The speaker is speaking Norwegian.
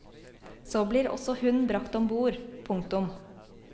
Så blir også hun brakt ombord. punktum